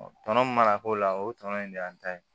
tɔnɔ min mana k'o la o tɔnɔ in de y'an ta ye